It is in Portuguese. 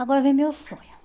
Agora vem meu sonho.